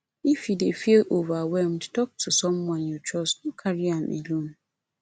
if you dey feel overwhelmed tok to someone you trust no carry am alone